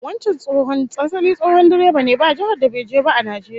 Wancan tsohon asali tsohon direba ne, ba jihar da bai je ba a Najeriya